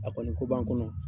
A kɔni ko b'an kɔnɔ.